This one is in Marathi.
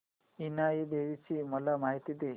इनाई देवीची मला माहिती दे